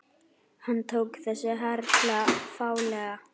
Hann tók þessu harla fálega.